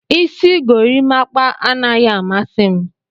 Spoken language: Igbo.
Isi gorimapa anaghị amasị m.